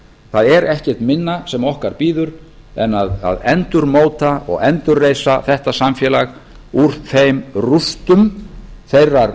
það er ekkert minna sem okkar bíður en að endurmóta og endurreisa þetta samfélag úr þeim rústum þeirrar